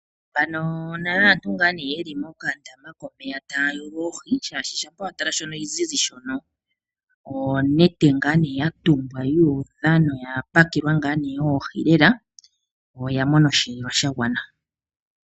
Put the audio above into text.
Aantu ye li mokandama komeya taya yulu oohi, oshoka shampa wa tala shoka sha ziza onete ya tumbwa yu udha noya pakelwa oohi lela. Oya mona osheelelwa sha gwana.